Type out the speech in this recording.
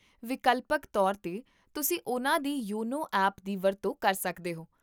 ਵਿਕਲਪਕ ਤੌਰ 'ਤੇ, ਤੁਸੀਂ ਉਨ੍ਹਾਂ ਦੀ ਯੋਨੋ ਐਪ ਦੀ ਵਰਤੋਂ ਕਰ ਸਕਦੇ ਹੋ